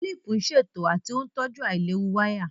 Kílìpù ń ṣètò àti ó ń tọ́jú àìlewu wáyà